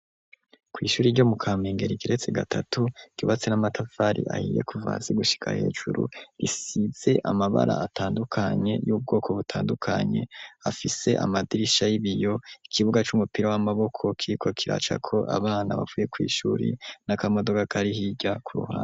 Kw'ishuri ryo mu kampengera igiretse gatatu kubatse n'amatafari ahiye kuvasi gushika hejuru risize amabara atandukanye y'ubwoko butandukanye afise amadirisha y'ibiyo ikibuga c'umupira w'amaboko kiko kiracako abana bavuye kw'ishuri n'akamodoga karihirya kuruhaa.